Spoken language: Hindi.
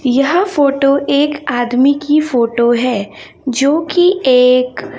यह फोटो एक आदमी की फोटो है जोकि एक--